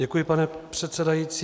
Děkuji, pane předsedající.